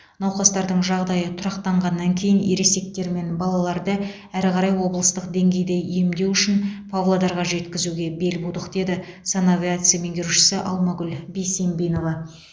науқастардың жағдайы тұрақтанғаннан кейін ересектер мен балаларды әрі қарай облыстық деңгейде емдеу үшін павлодарға жеткізуге бел будық деді санавиация меңгерушісі алмагүл бесембинова